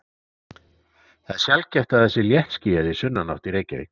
það er sjaldgæft að það sé léttskýjað í sunnanátt í reykjavík